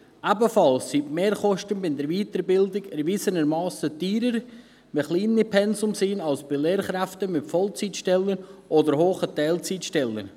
Ebenfalls sind die Mehrkosten bei der Weiterbildung erwiesenermassen teurer, wenn es um kleine Pensen geht, als bei Lehrkräften mit Vollzeitstellen und hohen Teilzeitstellen.